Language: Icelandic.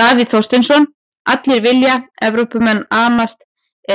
Davíð Þorsteinsson: Allir vilja, Evrópumenn amast